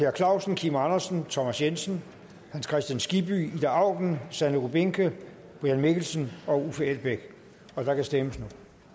per clausen kim andersen thomas jensen hans kristian skibby ida auken sanne rubinke brian mikkelsen og uffe elbæk og der kan stemmes